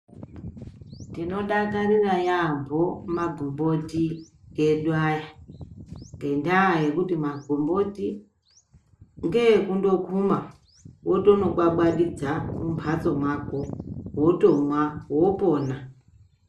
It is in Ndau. Tinodakarira yaamho magomboti edu aya ngendaa yekuti magomboti ngekundokuma wotonombwambwadidza mumhatso mwako wotomwa wopona.